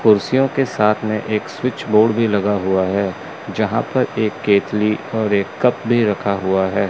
कुर्सियों के साथ में एक स्विच बोर्ड भी लगा हुआ है। जहां पर एक केतली और एक कप भी रखा हुआ है।